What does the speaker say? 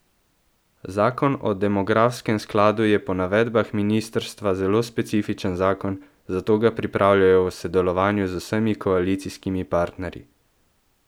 Zakon o demografskem skladu je po navedbah ministrstva zelo specifičen zakon, zato ga pripravljajo v sodelovanju z vsemi koalicijskimi partnerji.